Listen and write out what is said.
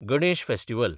Ganesh festival